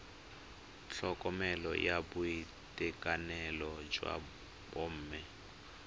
tlhokomelo ya boitekanelo jwa bomme